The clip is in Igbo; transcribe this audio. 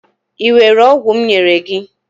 i were ogwu m nyere gi?